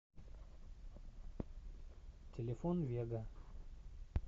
телефон вега